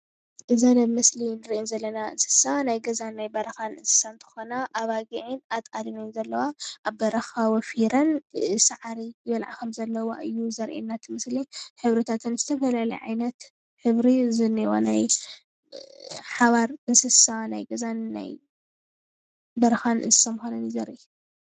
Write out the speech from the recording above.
እዚአን አብ ምስሊ እንሪኤን ዘለና እንስሳ ናይ ገዛን በረኻን እንስሳ እንትኾና አባጊዕን አጣልን እየን ዘለዋ አብ በረኻ ወፊረን ሳዕሪ ዝበልዓ ከም ዘለዋ እዩ ዘርእና ።እቲ ምስሊ ሕብርታት ዝተፈላለየ ዓይነት ሕብሪ ከም ዘለወን ናይ ሓባር እንስሳ ገዛን በረኻን እንስሳ ምካነን እዩ ዘርእይ፡፡